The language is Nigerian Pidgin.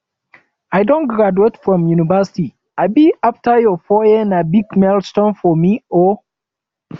i don graduate from university um afta four years na big milestone for me o um